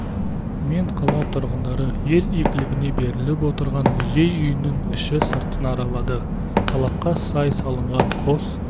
мен қала тұрғындары ел игілігіне беріліп отырған музей үйінің іші-сыртын аралады талапқа сай салынған қос